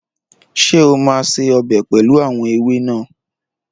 Ṣé o máa se ọbẹ̀ pẹlu àwọn ewé náà?